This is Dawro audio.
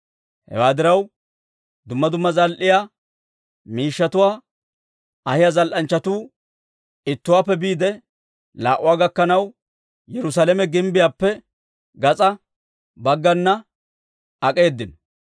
Hewaa diraw, dumma dumma zal"e miishshatuwaa ahiyaa zal"anchchatuu ittuwaappe biide laa"uwaa gakkanaw, Yerusaalame gimbbiyaappe gas'aa baggana ak'eedino.